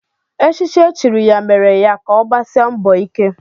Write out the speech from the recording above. Echichi e chiri ya mere ya ka ọgbasia mbọ ike